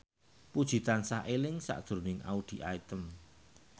Puji tansah eling sakjroning Audy Item